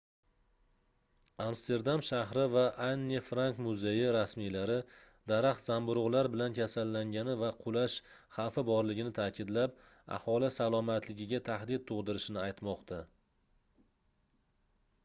amsterdam shahri va anne frank muzeyi rasmiylari daraxt zamburugʻlar bilan kasallangani va qulash xavfi borligini taʼkidlab aholi salomatligiga tahdid tugʻdirishini aytmoqda